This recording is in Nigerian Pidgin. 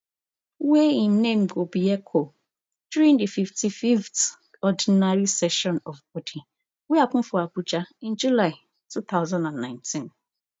wey im name go be eco during di fifty-fiveth ordinary session of body wey happen for abuja in july two thousand and nineteen